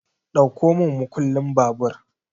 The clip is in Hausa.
Ɗauko mun makullin babur!